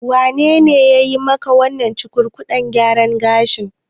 Wanene yayi maka wannan cukurkudaɗɗen gyaran gashin?